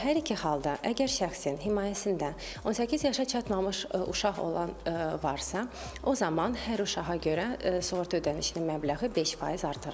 Və hər iki halda əgər şəxsin himayəsində 18 yaşına çatmamış uşaq olan varsa, o zaman hər uşağa görə sığorta ödənişinin məbləği 5% artırılır.